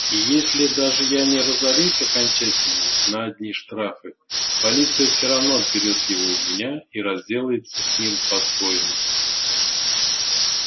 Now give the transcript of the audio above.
и если даже я не разорюсь окончательно на одни штрафы полиция все равно отберёт его у меня и разделается с ним по своему